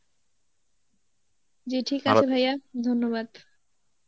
জী ঠিক আছে ভাইয়া, ধন্যবাদ.